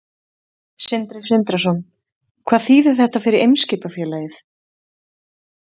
Sindri Sindrason: Hvað þýðir þetta fyrir Eimskipafélagið?